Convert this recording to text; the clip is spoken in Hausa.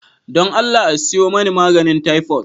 Don Allah a siyo mani maganin taifot.